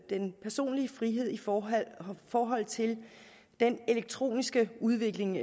den personlige frihed i forhold forhold til den elektroniske udvikling